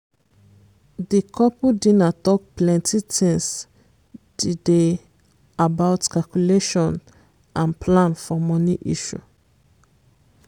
di couple dinner talk plenti times di dey about calculation and plan for money issue